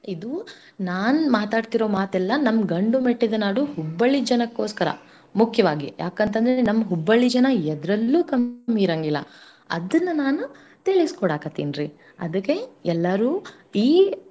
ಇದು ನಾನ್ ಮಾತಾಡ್ತಿರೋ ಮಾತಲ್ಲಾ ನಮ್ ಗಂಡು ಮೆಟ್ಟಿದ ನಾಡು Hubballi ಜನಕ್ಕೋಸ್ಕರ ಮುಖ್ಯವಾಗಿ ಯಾಕಂತಂದ್ರೆ ನಮ್ Hubballi ಜನ ಎದ್ರಲ್ಲೂ ಕಮ್ಮಿ ಇರಂಗಿಲ್ಲಾ ಅದನ್ನ ನಾನು ತಿಳಿಸ್ಕೊಡಾಕತ್ತೀನ್ರಿ. ಅದಕ್ಕೆ ಎಲ್ಲಾರೂ ಈ,